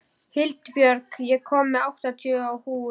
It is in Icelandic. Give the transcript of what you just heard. Hildibjörg, ég kom með áttatíu húfur!